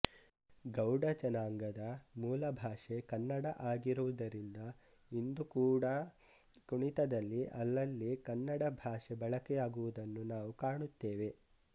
ಗೌಡ ಜನಾಂಗದ ಮೂಲ ಭಾಷೆ ಕನ್ನಡ ಆಗಿರುವುದರಿಂದ ಇಂದು ಕೂಡಾ ಕುಣಿತದಲ್ಲಿ ಅಲ್ಲಲ್ಲಿ ಕನ್ನಡ ಭಾಷೆ ಬಳಕೆಯಾಗುವುದನ್ನು ನಾವು ಕಾಣುತ್ತೇವೆ